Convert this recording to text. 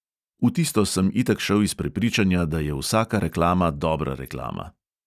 V tisto sem itak šel iz prepričanja, da je vsaka reklama dobra reklama.